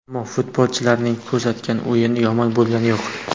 Ammo futbolchilarning ko‘rsatgan o‘yini yomon bo‘lgani yo‘q.